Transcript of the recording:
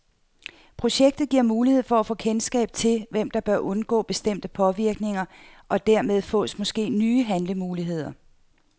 Projektet giver mulighed for at få kendskab til, hvem der bør undgå bestemte påvirkninger, og dermed fås måske nye handlemuligheder.